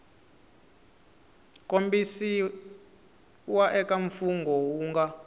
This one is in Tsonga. kombisiwa eka mfungho wu nga